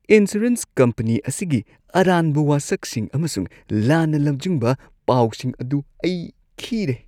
Insurance company ꯑꯁꯤꯒꯤ ꯑꯔꯥꯟꯕ ꯋꯥꯁꯛꯁꯤꯡ ꯑꯃꯁꯨꯡ ꯂꯥꯟꯅ ꯂꯝꯖꯤꯡꯕ ꯄꯥꯎꯁꯤꯡ ꯑꯗꯨ ꯑꯩ ꯈꯤꯔꯦ꯫